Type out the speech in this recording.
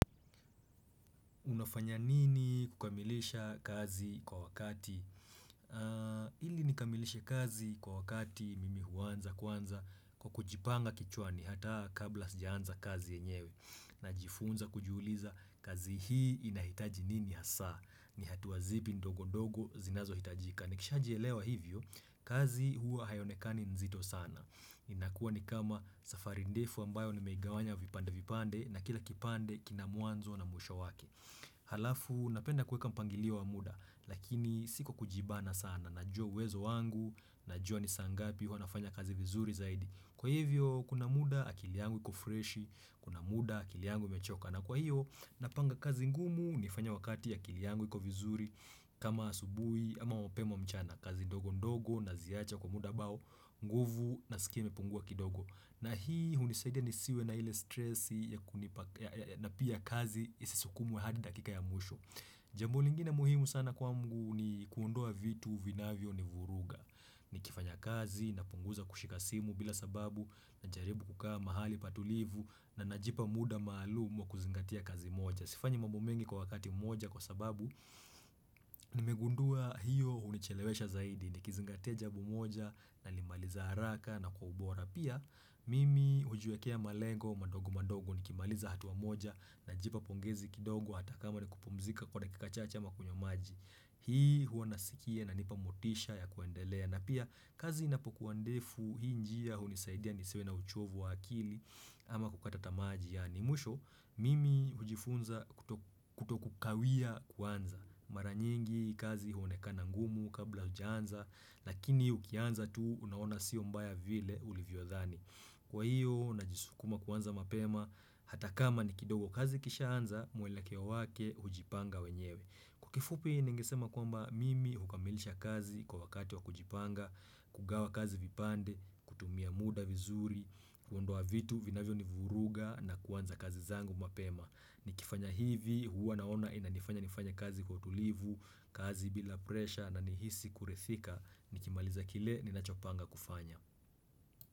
Unafanya nini kukamilisha kazi kwa wakati? Hili nikamilisha kazi kwa wakati mimi huanza kwanza kwa kujipanga kichwa ni hata kabla sijaanza kazi yenyewe. Najifunza kujuliza kazi hii inahitaji nini hasa. Ni hatua zipi ndogo ndogo zinazo hitajika. Nikishajielewa hivyo kazi hua hayonekani nzito sana. Inakua ni kama safari ndefu ambayo nimeigawanya vipande vipande na kila kipande kina mwanzo na mwisho wake. Halafu napenda kuweka mpangilio wa muda Lakini siko kujibana sana Najua wezo wangu Najua nisangapi wanafanya kazi vizuri zaidi Kwa hivyo kuna muda akili yangu iko fresh Kuna muda akili yangu imechoka na kwa hiyo napanga kazi ngumu nifanya wakati akili yangu iku vizuri kama asubuhi ama mpema mchana kazi ndogo ndogo naziacha kwa muda ambao nguvu na sikia imepungua kidogo na hii hunisaida nisiwe na ile stressi ya pia kazi isisukumwe hadi dakika ya mwisho. Jamb lingine muhimu sana kwa ngu ni kuondoa vitu vinavyo ni vuruga. Ni kifanya kazi, napunguza kushika simu bila sababu, na jaribu kukaa mahali patulivu, na najipa muda maalumu kuzingatia kazi moja. Sifanyi mambo mengi kwa wakati moja kwa sababu, nimegundua hiyo unichelewesha zaidi, ni kizingatia jambo moja, nalimaliza haraka, na kwa ubora. Pia mimi hujiwekea malengo madogo madogo nikimaliza hatuwa moja na jipa pongezi kidogo hata kama ni kupumzika kwa dakika chache ama kunywa maji. Hii huo nasikie na inanipa motisha ya kuendelea na pia kazi inapokuwa ndefu hii njia hunisaidia nisiwe na uchovu wa akili ama kukata tamaa. Mwisho, mimi hujifunza kutokukawia kwanza. Maranyingi kazi huonekana ngumu kabla hujaanza, lakini ukianza tu unaona siyo mbaya vile ulivyo dhani. Kwa hiyo, najisukuma kwanza mapema, hata kama ni kidogo kazi kisha anza, mwelekeo wake hujipanga wenyewe. Kifupi ningisema kwamba mimi hukamilisha kazi kwa wakati wa kujipanga, kugawa kazi vipande, kutumia muda vizuri, kuondoa vitu vinavyo nivuruga na kwanza kazi zangu mapema Nikifanya hivi huwa naona inanifanya nifanya kazi kwa utulivu, kazi bila presha na nihisi kuridhika nikimaliza kile ninachopanga kufanya.